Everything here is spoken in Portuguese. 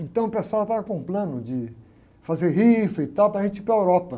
Então o pessoal estava com um plano de fazer rifa e tal para a gente ir para a Europa.